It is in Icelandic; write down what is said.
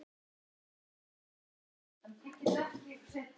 Þetta er mikið verk.